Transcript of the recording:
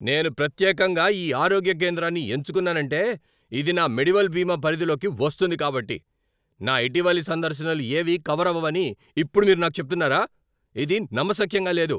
నేను ప్రత్యేకంగా ఈ ఆరోగ్య కేంద్రాన్ని ఎంచుకున్నానంటే ఇది నా మెడివెల్ బీమా పరిధిలోకి వస్తుంది కాబట్టి. నా ఇటీవలి సందర్శనలు ఏవీ కవర్ అవ్వవని ఇప్పుడు మీరు నాకు చెప్తున్నారా? ఇది నమ్మశక్యంగా లేదు!